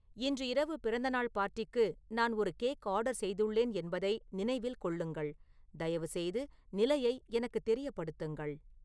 இன்று இரவு பிறந்தநாள் பார்ட்டிக்கு நான் ஒரு கேக் ஆர்டர் செய்துள்ளேன் என்பதை நினைவில் கொள்ளுங்கள் தயவுசெய்து நிலையை எனக்குத் தெரியப்படுத்துங்கள்